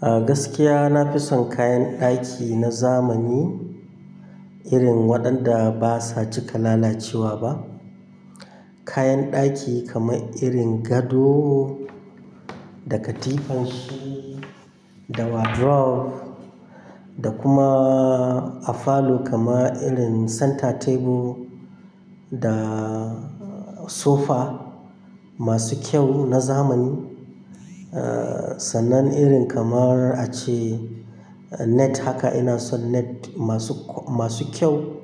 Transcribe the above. A gaskiya na fi son kayan ɗaki na zamani irin waɗanda basa cika lalacewa ba. Kayan ɗaki kamar irin gado da katifanshi da wardrobe da kuma a falo kamar irin center table da sofa masu kyau na zamani. Eh, sannan irin kamar a ce net haka ina son net masu, masu kyau,